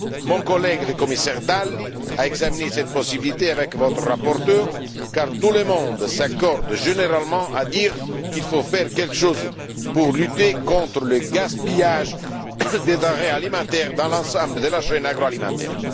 Mon collègue, le commissaire Dalli, a examiné cette possibilité avec votre rapporteur, car tout le monde s'accorde généralement à dire qu'il faut faire quelque chose pour lutter contre le gaspillage des denrées alimentaires dans l'ensemble de la chaîne agroalimentaire.